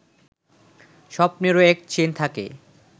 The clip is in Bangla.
স্বপ্নেরও এক চেইন থাকে